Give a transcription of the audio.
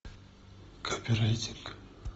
копирайтинг